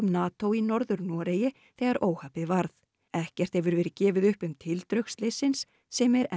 NATO í Norður Noregi þegar óhappið varð ekkert hefur verið gefið upp um tildrög slyssins sem er enn